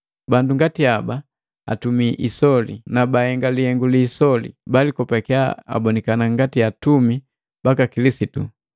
Bandu ngati haba atumi biisoli, na bahenga lihengu li isoli, balikopakiya abonikana ngati atumi baka Kilisitu.